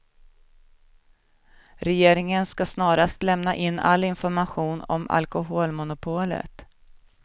Regeringen ska snarast lämna in all information om alkoholmonopolet.